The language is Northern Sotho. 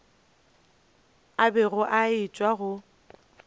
a bego a etšwa go